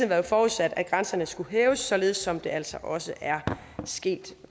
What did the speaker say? været forudsat at grænserne skulle hæves således som det altså også er sket